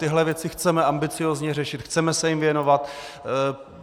Tyhle věci chceme ambiciózně řešit, chceme se jim věnovat.